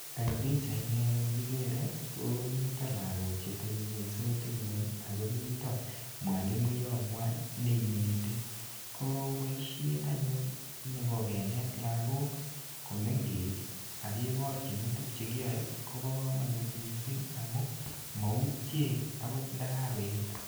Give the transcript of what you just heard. Eng pichait ni anyun kikere, komite lagok chetebung'unysot eng nguny akomito mwalimuiyot ngwai ne ineti. Ko boisiet anyun nebo kenet lagok komeng'ech, akeborchinituk che kiyae, kobo kamanut missing amu mautie agot ndakakoet.